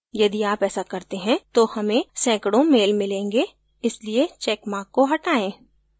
यदि आप ऐसा करते हैं तो हमें सैकडों mails मिलेंगे इसलिए चैकमार्क को हटाएँ